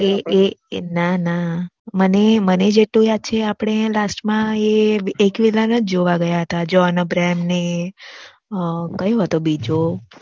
એ એ ના ના મને જેટલું યાદ છે આપણે એ એક વિલન જ જોવા ગયાતા જ્હોન અબ્રાહમ ને કયો હતો બીજો